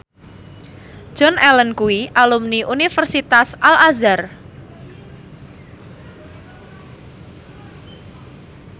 Joan Allen kuwi alumni Universitas Al Azhar